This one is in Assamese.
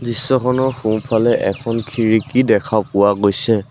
দৃশ্যখনৰ সোঁফালে এখন খিৰিকী দেখা পোৱা গৈছে।